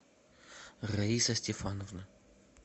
раиса стефановна